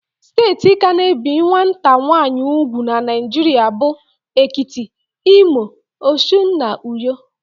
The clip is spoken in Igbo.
Steeti ka na-ebi nwata nwaanyị ùgwù n' Naijiria bụ: Ekiti, Imo, Osun, na Uyo.